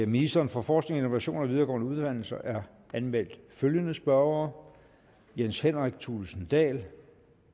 ministeren for forskning innovation og videregående uddannelser er anmeldt følgende spørgere jens henrik thulesen dahl